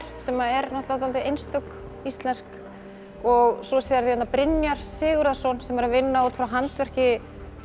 sem er dálítið einstök íslensk og svo sérðu hérna Brynjar Sigurðarson sem er að vinna út frá handverki